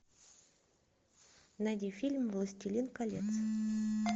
найди фильм властелин колец